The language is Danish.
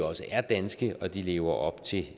også er danske og at de lever op til